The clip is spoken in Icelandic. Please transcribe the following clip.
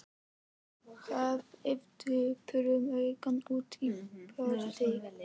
Horfði döprum augum út í portið.